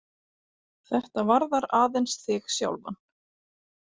Þetta varðar aðeins þig sjálfan.